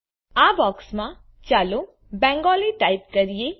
આ બોક્સમાં ચાલો બેંગાલી ટાઇપ કરીએ